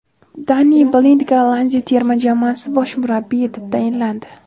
Danni Blind Gollandiya terma jamoasi bosh murabbiyi etib tayinlandi.